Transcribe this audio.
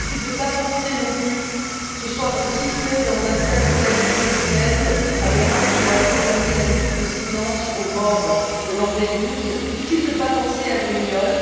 difficile de ne pas penser, non plus ce soir, aux sifflets dans un stade italien ce week end à Vérone, qui ont accompagné la minute de silence aux morts de Lampedusa difficile de ne pas penser à Brignoles.